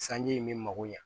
Sanji in bɛ mago ɲa